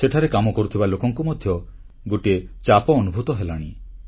ସେଠାରେ କାମ କରୁଥିବା ଲୋକଙ୍କୁ ମଧ୍ୟ ଗୋଟିଏ ଚାପ ଅନୁଭୂତ ହେଲାଣି